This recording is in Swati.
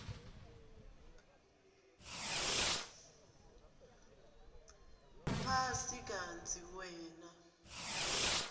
phasi kantsi wena